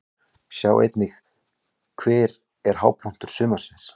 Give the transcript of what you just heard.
Sjá einnig: Hver er hápunktur sumarsins?